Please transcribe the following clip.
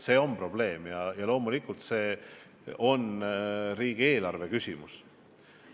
See on probleem ja loomulikult see on riigieelarve küsimus.